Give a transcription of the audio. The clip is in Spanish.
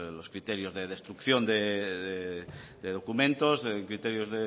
los criterios de destrucción de documentos criterios